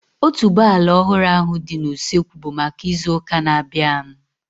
Otuboala ọhụrụ ahu dị n'usekwu bụ maka ịzụ ụka na-abianu